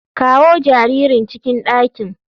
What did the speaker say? Kawo jaririn cikin dakin.